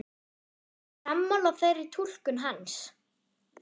Ertu sammála þeirri túlkun hans?